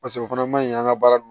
Paseke o fana ma ɲi an ka baara